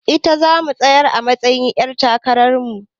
Ita zamu tsayar a matsa yin ƴar takarar mu